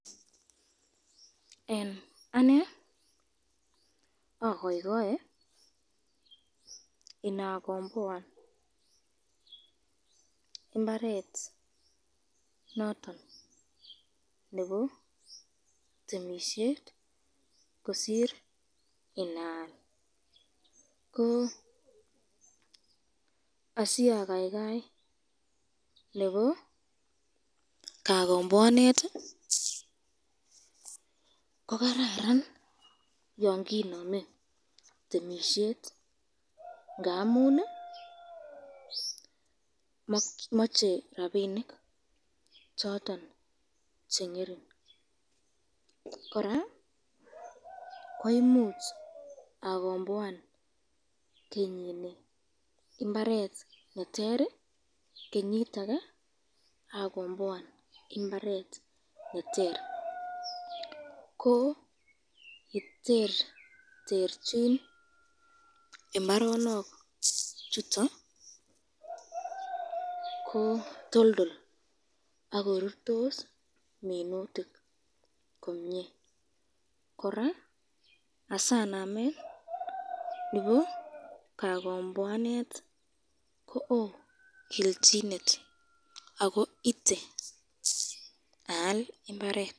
Eng ane akaikae inakomboan imbaret noton nebo temisyet kosir inaal, ko asi akaikai nebo kakomboanet ko kararan yon kinamen temisyet ngamun mache rapinik choton chengering ,koraa